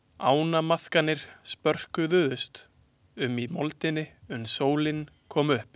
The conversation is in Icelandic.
Ánamaðkarnir spröðkuðust um í moldinni uns sólin kom upp.